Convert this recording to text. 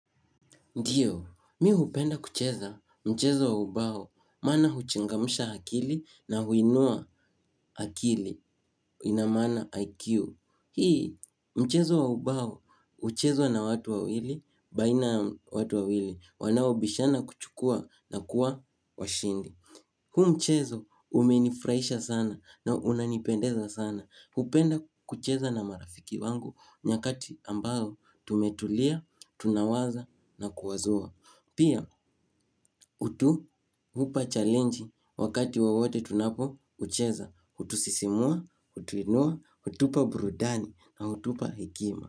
Ndiyo, mimi hupenda kucheza mchezo wa ubao, maana huchangamsha akili na huinua akili, ina maana IQ. Hii, mchezo wa ubao, huchezwa na watu wawili, baina ya watu wawili, wanaobishana kuchukua na kuwa washindi. Huu mchezo umenifurahisha sana na unanipendeza sana. Hupenda kucheza na marafiki wangu, nyakati ambayo tumetulia, tunawaza na kuwazua. Pia hutupa challenge wakati wowote tunapoucheza, hutusisimua, hutuinua, hutupa burudani na hutupa hekima.